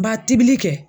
Ba tibili kɛ